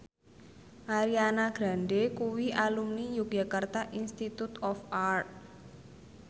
Ariana Grande kuwi alumni Yogyakarta Institute of Art